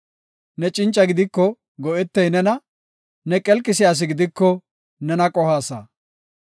Ne cinca gidiko, go7etey nena; Ne qelqisiya asi gidiko nena qohaasa.